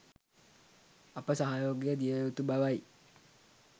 අප සහයෝගය දිය යුතු බවයි.